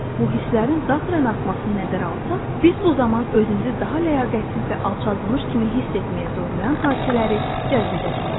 Bu hisslərin daxilən artmasını nəzərə alsaq, biz bir zaman özümüzü daha ləyaqətsiz və alçaldılmış kimi hiss etməyə zorlayan hadisələri cəzb edəcəyik.